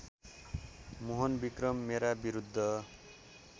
मोहनविक्रम मेरा विरूद्ध